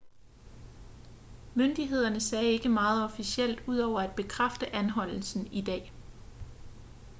myndighederne sagde ikke meget officielt ud over at bekræfte anholdelsen i dag